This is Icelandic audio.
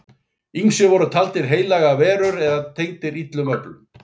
Ýmist voru þeir taldir heilagar verur eða tengdir illum öflum.